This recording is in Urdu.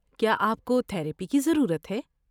کیا آپ کو تھراپی کی ضرورت ہے؟